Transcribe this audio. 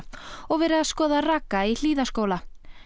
og verið að skoða raka í Hlíðaskóla